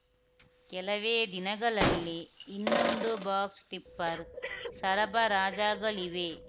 ಕೆಲವೇ ದಿನಗಳಲ್ಲಿ ಇನ್ನೊಂದು ಬಾಕ್ಸ್‌ ಟಿಪ್ಪರ್‌ ಸರಬರಾಜಗಲಿವೆ